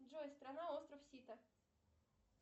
джой страна остров сита